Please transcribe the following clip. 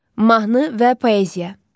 Mahnı və poeziya.